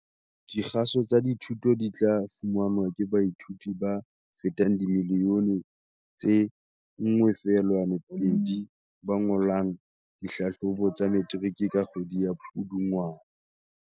Dikgaso tsa dithuto di tla fumanwa ke baithuti ba fetang dimiliyone tse 1.2 ba ngolang dihlahlobo tsa Metiriki ka kgwedi ya Pudungwana.